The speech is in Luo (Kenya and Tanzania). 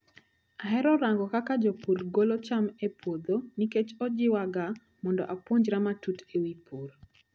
Ahero rango kaka jopur golo cham e puodho nikech ojiwaga mondo apuonjra matut ewi pur.